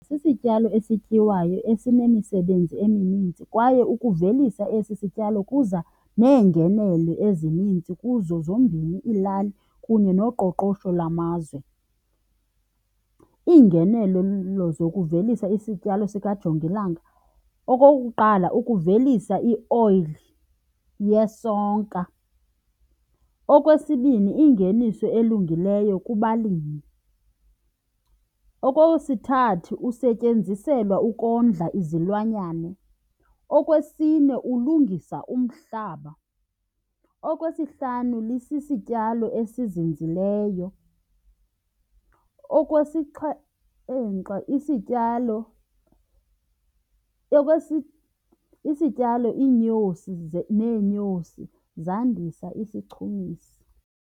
Sisityalo esityiwayo esinemisebenzi emininzi kwaye ukuvelisa esi sityalo kuza neengenelo ezininzi kuzo zombini iilali kunye noqoqosho lamazwe. Iingenelo zokuvelisa isityalo sikajongilanga, okokuqala, ukuvelisa ioyili yesonka. Okwesibini, ingeniso elungileyo kubalimi. Okwesithathu, usetyenziselwa ukondla izilwanyane. Okwesine, ulungisa umhlaba. Okwesihlanu, lisisityalo esizinzileyo. Okwesixhenxe, isityalo isityalo, iinyosi neenyosi zandisa isichumisi.